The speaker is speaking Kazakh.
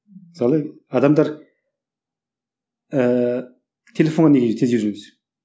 мысалы адамдар ыыы телефонға неге тез үйренесіз